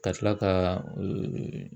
Ka tila ka